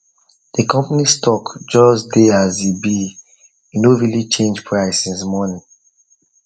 the company stock just dey as he be he no really change price since morning